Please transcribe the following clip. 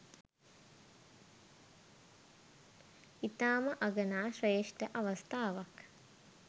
ඉතාම අගනා ශ්‍රේෂ්ඨ අවස්ථාවක්.